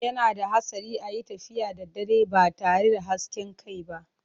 Yana da hatsari a yi tafiya da dare ba tare da hasken kai ba.